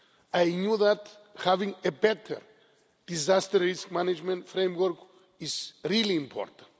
I knew that having a better disaster risk management framework is really important.